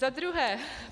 Za druhé.